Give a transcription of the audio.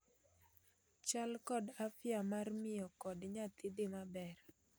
Chal kod afya mar miyo kod nyathi dhii maber